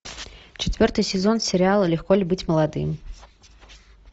четвертый сезон сериала легко ли быть молодым